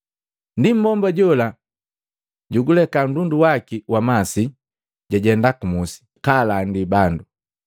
Ndienu mmbomba jola juguleka nndundu waki wa masi, jajenda ku musi, kalandi bandu,